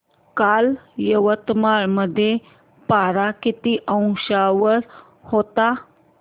काल यवतमाळ मध्ये पारा किती अंशावर होता